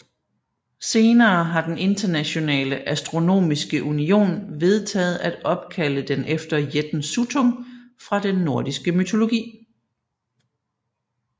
Senere har den Internationale Astronomiske Union vedtaget at opkalde den efter jætten Suttung fra den nordiske mytologi